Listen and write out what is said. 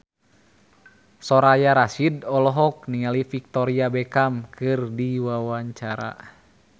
Soraya Rasyid olohok ningali Victoria Beckham keur diwawancara